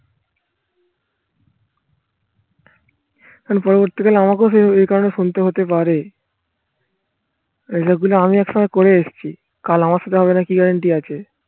এখন পরবর্তীকালে আমাকেও এই কারণে শুনতে হতে পারে এই লোকগুলো আমি একসময় করে এসছি। কাল আমার সাথে হবে না কি guarantee আছে